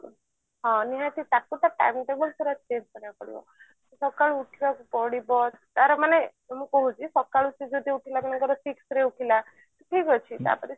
ହଁ ନିହାତି ତାକୁ ତ time table ପୁରା କରିବାକୁ ପଡିବ ସକାଳୁ ଉଠିବାକୁ ପଡିବ ତାର ମାନେ ମୁଁ କହୁଛି ସକାଳୁ ସେ ଯଦି ଉଠିଲା ମନେକର six ରେ ଉଠିଲା ଠିକ ଅଛି